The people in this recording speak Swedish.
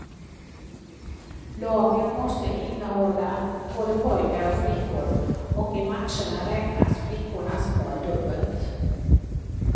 Lagen måste innehålla både pojkar och flickor, och i matcherna räknas flickornas mål dubbelt.